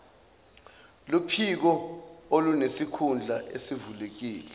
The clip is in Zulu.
luphiko olunesikhundla esivulekile